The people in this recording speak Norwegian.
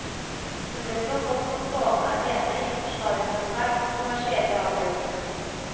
Hun ble så godt som stående alene i å forsvare den svært kontroversielle avgjørelsen.